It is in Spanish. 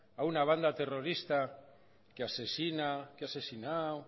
a una banda terrorista que asesina que ha asesinado